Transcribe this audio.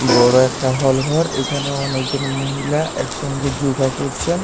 বড় একটা হল ঘর এখানে অনেকজন মহিলা একসঙ্গে যোগা করছেন।